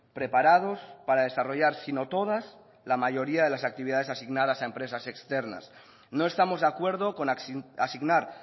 preparados para desarrollar sino todas la mayoría de las actividades asignadas a empresas externas no estamos de acuerdo con asignar